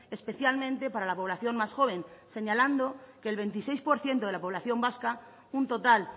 especialmente para la población más joven señalando que el veintiséis por ciento de la población vasca un total